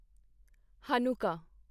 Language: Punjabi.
ਹਨੁੱਕਾ